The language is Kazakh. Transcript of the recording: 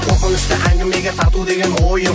қорқынышты әңгімеге тарту деген ойым